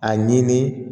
A ɲini